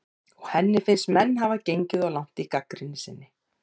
En finnst henni menn hafa gengið of langt í gagnrýni sinni?